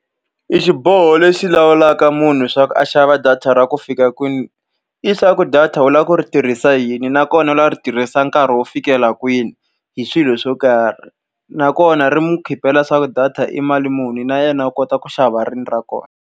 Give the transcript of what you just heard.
E xiboho lexi lawulaka munhu leswaku a xava data ra ku fika kwini, hileswaku data u lava ku ri tirhisa yini nakona loko u lava ku ri tirhisa nkarhi wo fikela kwini hi swilo swo karhi. Nakona ri n'wi leswaku data i mali muni na yena u kota ku xava rini ra kona.